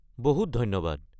বহুত ধন্যবাদ।